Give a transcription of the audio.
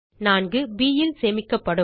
4 ப் ல் சேமிக்கப்படும்